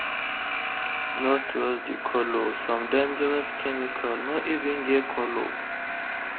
no trust the colour—some dangerous chemical no even get colour.